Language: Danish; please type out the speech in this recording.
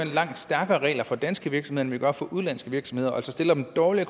langt stærkere regler for danske virksomheder end vi gør for udenlandske virksomheder altså stiller dem dårligere